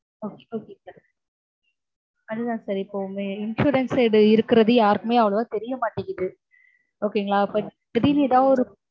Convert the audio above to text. okay okay sir அதுதா sir இப்போ உங்க insurance இருக்கறது யாருக்குமே அவ்ளோவா தெரிய மாட்டேங்குது. okay ங்களா. அப்போ திடீர்னு ஏதாவது ஒரு